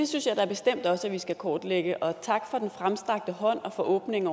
synes jeg da bestemt også at vi skal kortlægge og tak for den fremstrakte hånd og åbningen